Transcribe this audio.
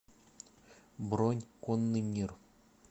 бронь конный мир